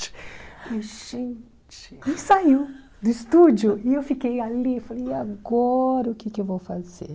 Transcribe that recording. E gente, ele saiu do estúdio e eu fiquei ali e falei, e agora o que que eu vou fazer?